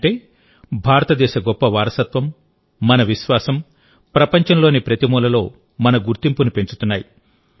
అంటేభారతదేశ గొప్ప వారసత్వం మన విశ్వాసం ప్రపంచంలోని ప్రతి మూలలో మన గుర్తింపును పెంచుతున్నాయి